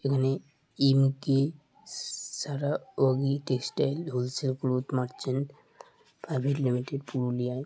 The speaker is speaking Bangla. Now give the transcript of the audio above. এখানে এম.কে. স-সারা য়গি textile wholesale cloth merchant private limited পুরুলিয়ায় ।